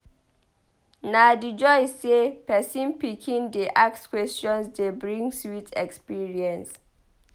Na di joy sey pesin pikin dey ask questions dey bring sweet experience.